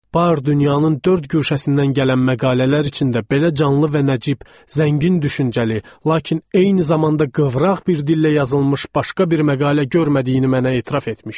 Bar dünyanın dörd güşəsindən gələn məqalələr içində də belə canlı və nəcib, zəngin düşüncəli, lakin eyni zamanda qıvraq bir dillə yazılmış başqa bir məqalə görmədiyini mənə etiraf etmişdi.